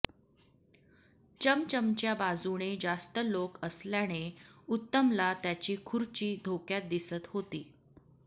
चमचमच्या बाजूने जास्त लोक असल्याने उत्तमला त्याची खुर्ची धोक्यात दिसत होती